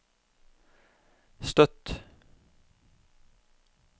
Støtt